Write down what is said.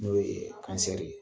N'o ye ye.